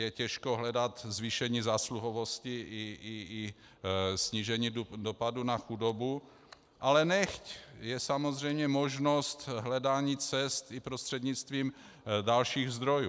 Je těžko hledat zvýšení zásluhovosti i snížení dopadu na chudobu, ale nechť, je samozřejmě možnost hledání cest i prostřednictvím dalších zdrojů.